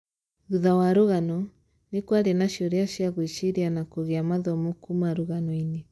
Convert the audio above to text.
thutha wa rugano, nĩ kwarĩ na ciũria ci a gũĩciria na kũgĩa mathomo kuma rũganoinĩ